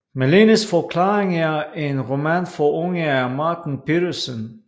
Malenes forklaring er en roman for unge af Martin Petersen